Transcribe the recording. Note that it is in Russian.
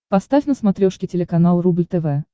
поставь на смотрешке телеканал рубль тв